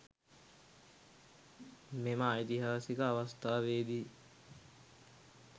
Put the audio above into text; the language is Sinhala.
මෙම ඓතිහාසික අවස්ථාවේ දී